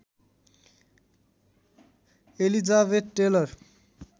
Elizabeth tailor